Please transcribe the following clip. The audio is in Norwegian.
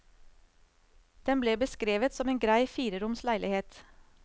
Den ble beskrevet som en grei fireroms leilighet.